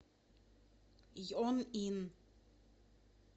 йонъин